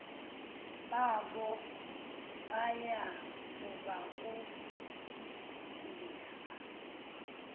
babo baya kubafundisa